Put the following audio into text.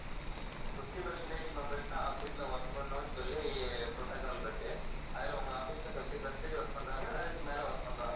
அப்போ fifty percentage members தான் office ல work பண்ணனும்னு சொல்லி protocol இருக்கு அதுல உங்க office ல fifty percentage work பண்றாங்களா இல்ல அதுக்கு மேல work பண்றாங்களா